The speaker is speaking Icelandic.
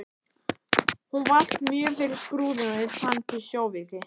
Hún valt mjög fyrir Skrúðinn og ég fann til sjóveiki.